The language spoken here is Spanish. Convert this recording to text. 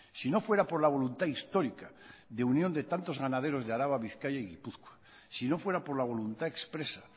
si no fuera por la voluntad histórica de unión de tantos ganaderos de áraba bizkaia y gipuzkoa si no fuera por la voluntad expresa